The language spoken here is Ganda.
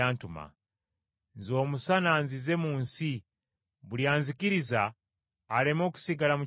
Nze omusana nzize mu nsi buli anzikiriza aleme okusigala mu kizikiza.